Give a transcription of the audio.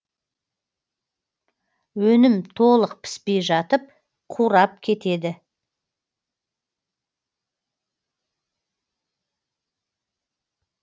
өнім толық піспей жатып қурап кетеді